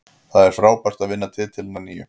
Það er frábært að vinna titilinn að nýju.